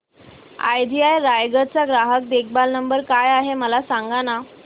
idea Raigad चा ग्राहक देखभाल नंबर काय आहे मला सांगाना